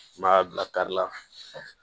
N b'a bila kari la